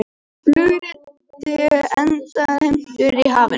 Flugriti endurheimtur í hafinu